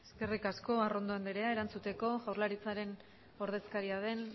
eskerrik asko arrondo anderea erantzuteko jaurlaritzaren ordezkaria den